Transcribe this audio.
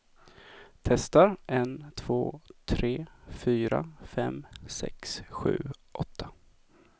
Testar en två tre fyra fem sex sju åtta.